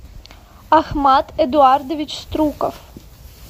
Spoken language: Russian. ахмат эдуардович струков